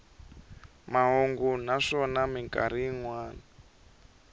mahungu naswona mikarhi yin wana